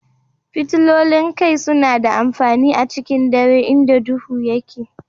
Fitilolin kai suna da amfani a cikin dare inda duhu yake.